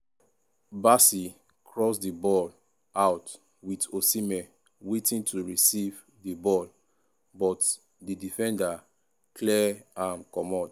bassey cross di ball out wit osihmen waiting to receive di ball but di defender clear ma comot.